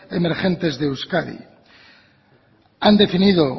emergentes de euskadi han definido